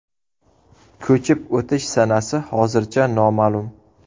Ko‘chib o‘tish sanasi hozircha noma’lum.